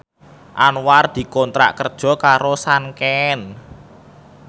Anwar dikontrak kerja karo Sanken